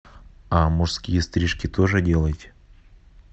а мужские стрижки тоже делаете